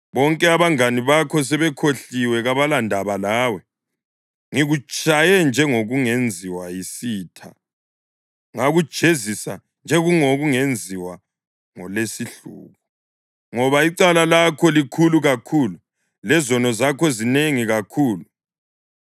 Bonke abangane bakho sebekukhohliwe; kabalandaba lawe. Ngikutshaye njengokungenziwa yisitha ngakujezisa njengokungenziwa ngolesihluku, ngoba icala lakho likhulu kakhulu lezono zakho zinengi kakhulu.